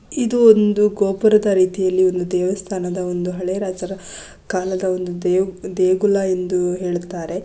ಇದು ಒಂದು ಗೋಪುರದ ರೀತಿಯಲ್ಲಿ ಒಂದು ದೇವಸ್ಥಾನದ ಒಂದು ಹಳೆಯ ರಾಜರ ಕಾಲದ ಒಂದು ದೇಗು ದೇಗುಲ ಎಂದು ಹೇಳುತ್ತಾರೆ.